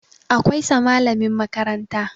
Akwai sa malamin makaranta